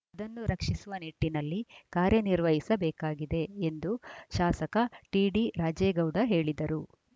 ಅದನ್ನು ರಕ್ಷಿಸುವ ನಿಟ್ಟಿನಲ್ಲಿ ಕಾರ್ಯನಿರ್ವಹಿಸಬೇಕಾಗಿದೆ ಎಂದು ಶಾಸಕ ಟಿಡಿರಾಜೇಗೌಡ ಹೇಳಿದರು